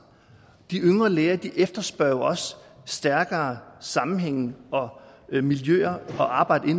de yngre læger efterspørger jo også stærkere sammenhænge og miljøer at arbejde